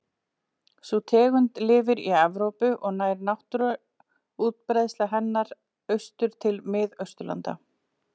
Sú tegund lifir í Evrópu og nær náttúruleg útbreiðsla hennar austur til Mið-Austurlanda.